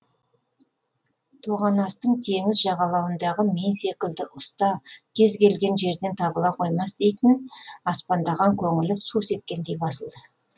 тоғанастың теңіз жағалауындағы мен секілді ұста кез келген жерден табыла қоймас дейтін аспандаған көңілі су сепкендей басылды